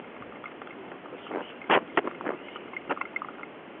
молокососы двадцать первая серия